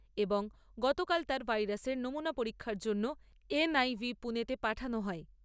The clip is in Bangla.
এবং গতকাল তাঁর ভাইরাসের নমুনা পরীক্ষার জন্য এনআইভি পুণেতে পাঠানো হয়।